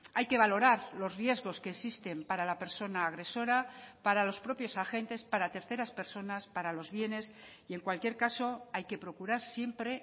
hay que valorar los riesgos que existen para la persona agresora para los propios agentes para terceras personas para los bienes y en cualquier caso hay que procurar siempre